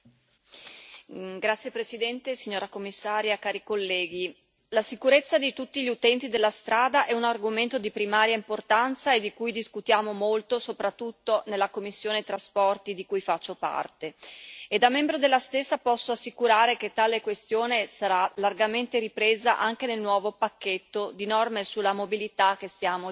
Signor Presidente, onorevoli colleghi, signora Commissaria, la sicurezza di tutti gli utenti della strada è un argomento di primaria importanza e di cui discutiamo molto, soprattutto nella commissione per i trasporti e il turismo di cui faccio parte e da membro della stessa, posso assicurare che tale questione sarà largamente ripresa anche nel nuovo pacchetto di norme sulla mobilità che stiamo discutendo.